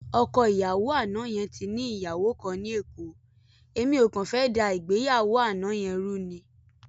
Ọkọ ìyàwó àná yẹn ti ní ìyàwó kan ní Èkó, èmi ò kàn fẹ́ dá ìgbéyàwó àná yẹn rú ni.